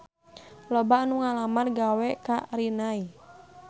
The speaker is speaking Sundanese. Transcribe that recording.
Loba anu ngalamar gawe ka Rinnai